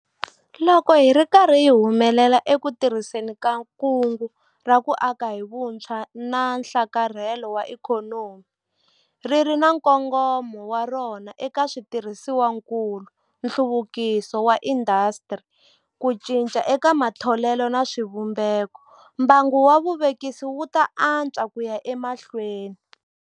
Loko hi ri karhi hi humelela eku tirhiseni ka Kungu ra ku Aka hi Vutshwa na Nhlakarhelo wa Ikhonomi, ri ri na nkongomo wa rona eka switirhisiwakulu, nhluvukiso wa tiindasitiri, ku cinca eka matholelo na swivumbeko, mbangu wa vuvekisi wu ta antswa ku ya emahlweni.